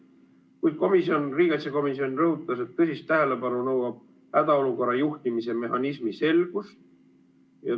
Kuid riigikaitsekomisjon rõhutas, et tõsist tähelepanu nõuab hädaolukorra juhtimise mehhanismi selgus.